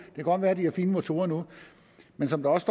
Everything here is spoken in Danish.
kan godt være at de har fine motorer nu men som der også